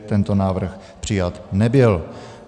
Tento návrh přijat nebyl.